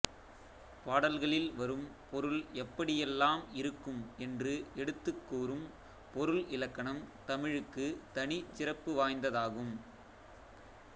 பாடல்களில் வரும் பொருள் எப்படி எல்லாம் இருக்கும் என்றுஎடுத்துக் கூறும் பொருள் இலக்கணம் தமிழுக்குத் தனிச் சிறப்பு வாய்ந்ததாகும்